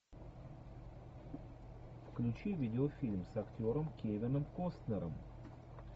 включи видеофильм с актером кевином костнером